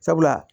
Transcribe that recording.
Sabula